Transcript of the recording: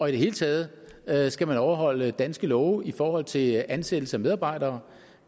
hele taget taget skal man overholde danske love i forhold til ansættelse af medarbejdere